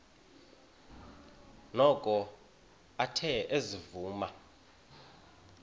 noko athe ezivuma